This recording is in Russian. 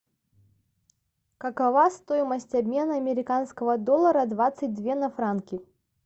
какова стоимость обмена американского доллара двадцать две на франки